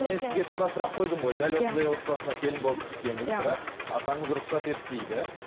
мен сізге тура сұрақ койдым ғой дәл осындай отбасына келін болып түссеңіз бірақ атаңыз рұқсат етпейді